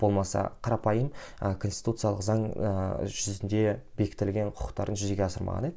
болмаса қарапайым ы конституциялық заң ыыы жүзінде бекітілген құқықтарын жүзеге асырмаған иә